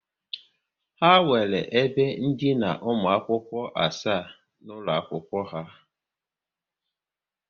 Ha nwere ebe ndina ụmụ akwụkwọ asaa n'ụlọ akwụkwọ ha